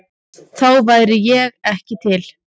Þá væri ég ekki til?